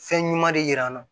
Fɛn ɲuman de yiri an na